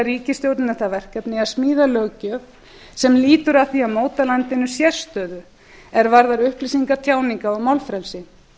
ríkisstjórninni það verkefni að smíða löggjöf sem lýtur að því að móta landinu sérstöðu er varðar upplýsinga tjáninga og málfrelsi